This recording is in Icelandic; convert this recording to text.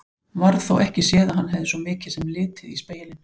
Varð þó ekki séð að hann hefði svo mikið sem litið í spegilinn.